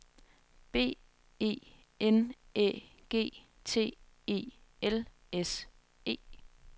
B E N Æ G T E L S E